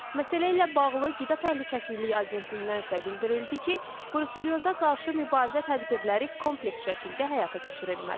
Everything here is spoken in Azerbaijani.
Məsələ ilə bağlı qida təhlükəsizliyi agentliyindən isə bildirildi ki, bruselyoza qarşı mübarizə tədbirləri kompleks şəkildə həyata keçirilməlidir.